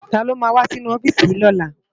Táló má wá ninú òfisi yi lòlá?